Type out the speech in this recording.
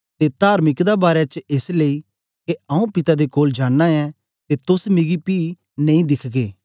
ते तार्मिकता दे बारै च एस लेई के आऊँ पिता दे कोल जांना ऐं ते तोस मिगी पी नेई दिखगे